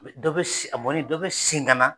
Dɔ be se, a mɔlen dɔ be segin ka na.